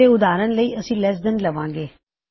ਤੇ ਉਦਾਹਰਨ ਲਈ ਅਸੀ ਲੈੱਸ ਦੈਨ ਲੈਂਦੇ ਹਾਂ